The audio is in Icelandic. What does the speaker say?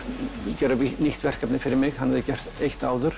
gera nýtt verkefni fyrir mig hann hafði gert eitt áður